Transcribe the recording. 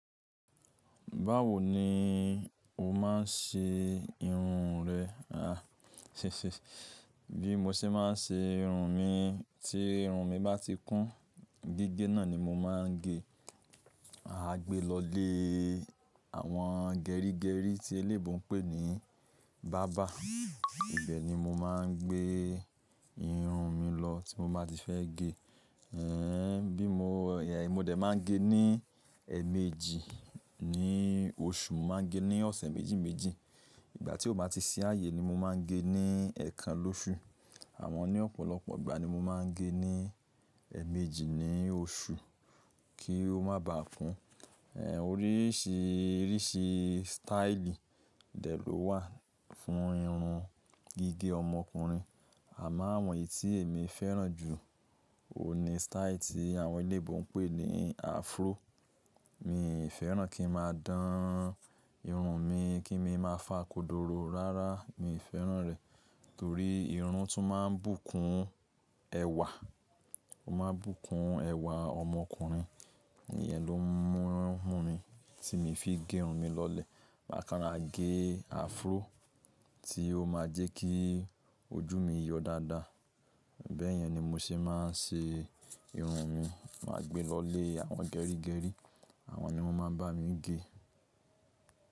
Báwo ni o máa ń ṣe irun rẹ? À, bí mo ṣe máa ń ṣe irun mi, tí irun mi bá ti kún, gígé náà ni mó máa ń gé. A gbé lọ lé àwọn gerígerí tí eléyibo ń pè ní barber. Ibẹ̀ ni mo máa ń gbé irun mi lọ tí mo bá ti fẹ́ gé. Ê, bí mó, mo dẹ̀ máa ń gé ní ẹ́ẹ̀méjì ní oṣù, mó máa ń gé ní ọ̀sẹ̀ méjì méjì. Ìgbà tí ó bá ti ṣi ààyè ni mọ máa ń gé níi ẹ́ẹ̀kan lóṣù. Àmọ ní ọ̀pọ̀lọpọ̀ ìgbà ni mo máa ń gé ní ẹ́ẹ̀méjì ní oṣù kí ó má baà kún. Ê, oríṣìíríṣìí styli dẹ̀ ló wà fún irun gígé ọmọkùnrin. Àmo àwọn èyì tí èmí fẹ́ràn jù, òun ni style tí àwọn eléyinbo ń pè ní afro. Mi ò fẹ́ràn kí n máa dán irun mi, kí n mí máa fá kodoro rárá, mi ò fẹ́ràn rẹ̀. Torí irun tún máa ń bùkún ẹwà. Ó máa ń bùkún ẹwà ọmọkùnrin. Iyẹn ló ń mú mí, tí mi fi gé irun mi lọlé. Màkan rá gé afro tí ó máa jẹ́ kí ojú mi yọ dáadáa. Bẹ́ẹ̀ yẹn ni mo ṣe máa ń ṣe irun mi. Máa gbé lọ lé àwọn gerígerí, àwọn ni wọ́n máa ń bá mi gé.